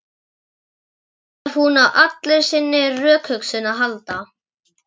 Nú þarf hún á allri sinni rökhugsun að halda.